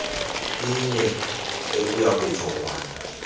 iyenye ekuya kujongwana